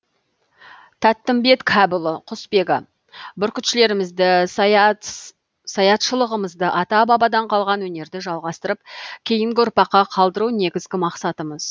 тәттімбет кәпұлы құсбегі бүркітшілігімізді саятшылығымызды ата бабадан қалған өнерді жалғастырып кейінгі ұрпаққа қалдыру негізгі мақсатымыз